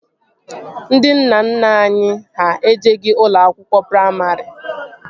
Ndị nna nna anyị ha ejeghi ụlọ akwụkwọ praimarị